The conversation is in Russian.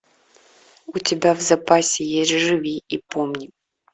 у тебя в запасе есть живи и помни